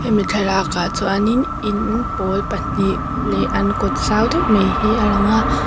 hemi thlalak ah chuan in in pawl pahnih leh an kawt zau deuh mai hi a lang a.